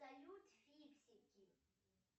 салют фиксики